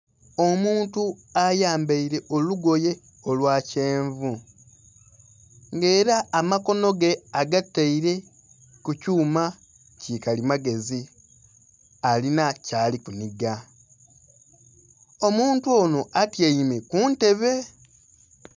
Omuntu ayambaile olugoye olwa kyenvu nga ela amakono ge agataile ku kyuma ki kalimagezi, alina kyali kunhiga. Omuntu ono atyaime ku ntebe.